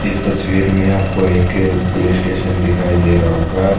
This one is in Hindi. इस तस्वीर में आपको एक पुलिस स्टेशन दिखाई दे रहा होगा।